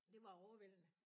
Det var overvældende